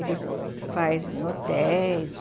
Ele faz em hotéis.